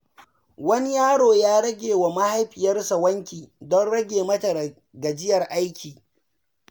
Wani yaro ya yi wa mahaifiyarsa wanki don rage mata gajiyar aiki.